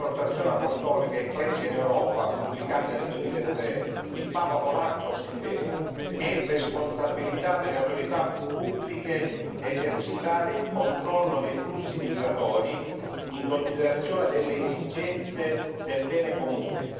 Nella sua esortazione apostolica Ecclesia in Europa pubblicata nel 2003, il Papa polacco scriveva è responsabilità delle autorità pubbliche esercitare il controllo dei flussi migratori in considerazione delle esigenze del bene comune.